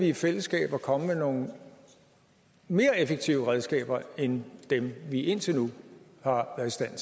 i fællesskab at komme med nogle mere effektive redskaber end dem vi indtil nu har